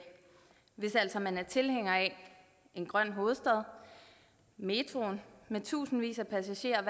hvis altså man er tilhænger af en grøn hovedstad og metroen med tusindvis af passagerer